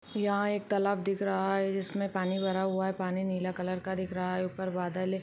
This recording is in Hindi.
यहां एक तालाब दिख रहा है जिस में पानी भरा हुआ है पानी नील कलर का दिख रहा है ऊपर बदल है।